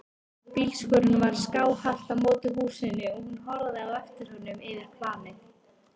Bílskúrinn var skáhallt á móti húsinu og hún horfði á eftir honum yfir planið.